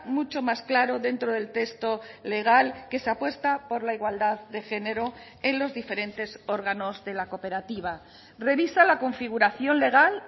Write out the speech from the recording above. mucho más claro dentro del texto legal que se apuesta por la igualdad de género en los diferentes órganos de la cooperativa revisa la configuración legal